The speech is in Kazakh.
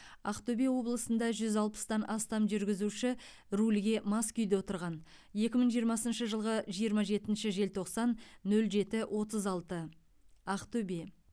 ақтөбе облысында жүз алпыстан астам жүргізуші рульге мас күйде отырған екі мың жиырмасыншы жылғы жиырма жетінші желтоқсан нөл жеті отыз алты ақтөбе